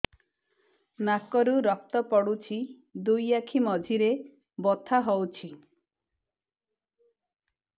ନାକରୁ ରକ୍ତ ପଡୁଛି ଦୁଇ ଆଖି ମଝିରେ ବଥା ହଉଚି